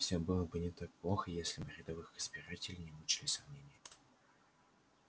всё было бы не так плохо если бы рядовых избирателей не мучили сомнения